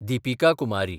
Deepika Kumari